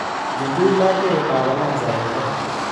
Ichuchuch labkeiyetab alasa eng koot